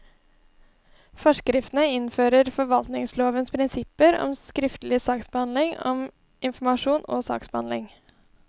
Forskriftene innfører forvaltningslovens prinsipper om skriftlig saksbehandling om informasjon og saksbehandling.